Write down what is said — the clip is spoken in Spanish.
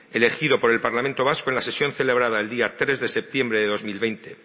elegido por el parlamento vasco en la sesión celebrada el día tres de septiembre de dos mil veinte